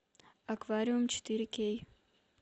аквариум четыре кей